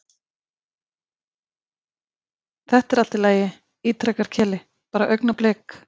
Þetta er allt í lagi, ítrekar Keli, bara augnablik.